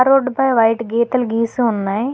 Road పై white గీతలు గీసి ఉన్నాయ్.